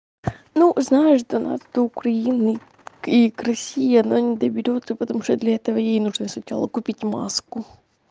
ну знаешь да над украиной и к россии она не доберётся потому что для этого ей нужно сначала купить маску